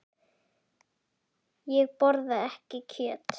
Ég borða ekki kjöt.